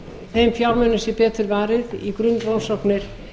þeim fjármunum sé betur varið í grunnrannsóknir